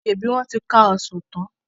ṣebí wọn ti ká Ọsàn tán?